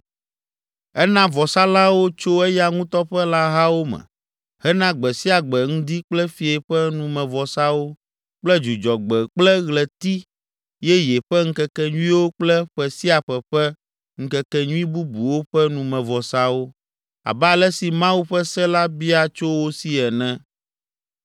Ena vɔsalãwo tso eya ŋutɔ ƒe lãhawo me hena gbe sia gbe ŋdi kple fiẽ ƒe numevɔsawo kple Dzudzɔgbe kple Ɣleti Yeye ƒe ŋkekenyuiwo kple ƒe sia ƒe ƒe ŋkekenyui bubuwo ƒe numevɔsawo, abe ale si Mawu ƒe se la bia tso wo si ene.